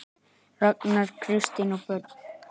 Ragnar, Kristín og börn.